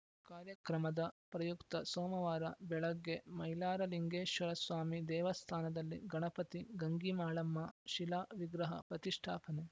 ಕಾರ್ಯಕ್ರಮದ ಪ್ರಯುಕ್ತ ಸೋಮವಾರ ಬೆಳಗ್ಗೆ ಮೈಲಾರ ಲಿಂಗೇಶ್ವರಸ್ವಾಮಿ ದೇವಸ್ಥಾನದಲ್ಲಿ ಗಣಪತಿ ಗಂಗಿ ಮಾಳಮ್ಮ ಶಿಲಾ ವಿಗ್ರಹ ಪ್ರತಿಷ್ಠಾಪನೆ